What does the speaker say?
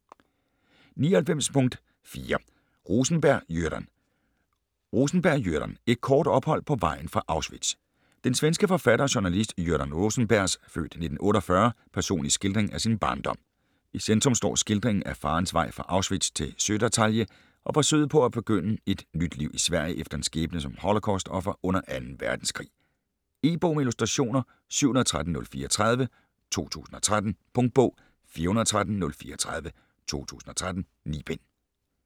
99.4 Rosenberg, Göran Rosenberg, Göran: Et kort ophold på vejen fra Auschwitz Den svenske forfatter og journalist Göran Rosenbergs (f. 1948) personlige skildring af sin barndom. I centrum står skildringen af farens vej fra Auschwitz til Södertalje og forsøget på at begynde et nyt liv i Sverige efter en skæbne som holocaust-offer under 2. verdenskrig. E-bog med illustrationer 713034 2013. Punktbog 413034 2013. 9 bind.